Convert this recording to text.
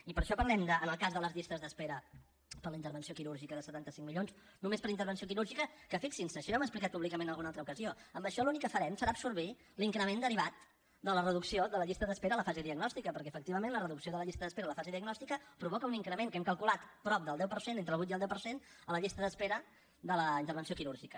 i per això parlem en el cas de les llistes d’espera per a la intervenció quirúrgica de setanta cinc milions només per intervenció quirúrgica que fixin se això ja ho hem explicat públicament en alguna altra ocasió amb això l’únic que farem serà absorbir l’increment derivat de la reducció de la llista d’espera a la fase diagnòstica perquè efectivament la reducció de la llista d’espera a la fase diagnòstica provoca un increment que hem calculat de prop del deu per cent entre el vuit i el deu per cent a la llista d’espera de la intervenció quirúrgica